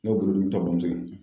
Ne bɔla n taara k'u to yen.